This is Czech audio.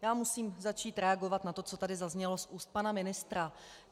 Já musím začít reagovat na to, co tady zaznělo z úst pana ministra.